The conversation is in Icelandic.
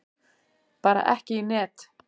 Bara ekki í net.